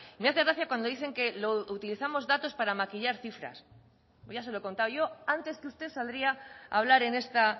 me hace gracia cuando dicen que utilizamos datos para maquillar cifras pues ya se lo he contado yo antes que usted saldría a hablar en esta